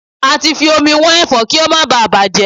Ati fi omi wọ́n Ẹ̀fọ́ kí ó má báà bàjẹ́.